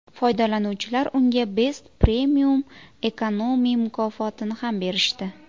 Foydalanuvchilar unga Best Premium Economy mukofotini ham berishdi.